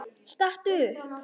Stattu upp!